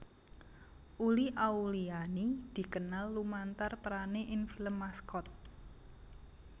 Uli Auliani dikenal lumantar perané ing film Maskot